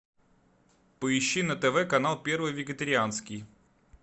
поищи на тв канал первый вегетарианский